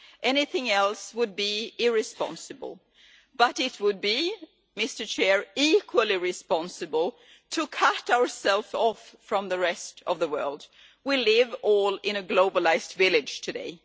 Anything else would be irresponsible, but it would be equally irresponsible to cut ourselves off from the rest of the world we all live in a globalised village today.